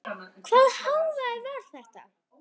Hvaða hávaði var þetta?